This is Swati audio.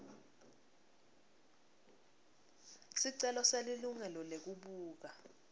sicelo selilungelo lekubuka